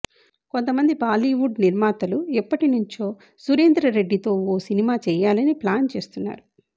కొంతమంది బాలీవుడ్ నిర్మాతలుఎప్పటి నుంచో సురేందర్రెడ్డి తో ఓ సినిమా చేయాలని ప్లాన్ చేస్తున్నారు